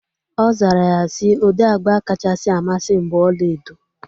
Ọ zara ya si, ụdị agba kachasị amasị m bụ ọlaedo